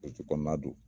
Butiki kɔnɔna don